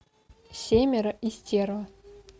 семеро и стерва